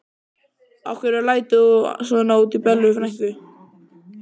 Af hverju lætur þú svona út í Bellu frænku?